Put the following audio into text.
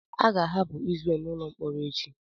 A ga-ahapụ Izrel n'ụlọ mkpọrọ echi.